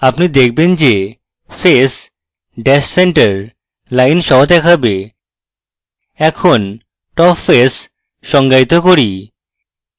আপনি দেখবেন যে face ড্যাশ centre lines সহ দেখাবে এখন top face সংজ্ঞায়িত করি